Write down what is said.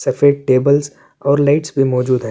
سفید ٹیبلز اور لیٹ بھی موزود ہے۔